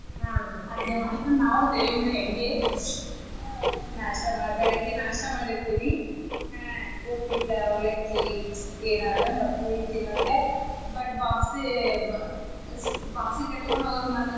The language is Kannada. ಹಾ ರೀ ಅದ್ನೇ ಮಾಡೋದ್ರಿ ನಾವು same ರೀ ಹಂಗೆ नास्ता ಬೆಳಿಗ್ಗೆ नास्ता ಮಾಡಿರ್ತೇವಿ ಉಪ್ಪಿಟ್ಟ ಅವಲಕ್ಕಿ ಏನಾದ್ರ ಮಕ್ಕಳಿಗ ತಿನ್ನಾಕ but box ಗ box ಗೆ ಕಟಗೊಂಡ ಹೋಗಾಕ ಮಾತ್ರ.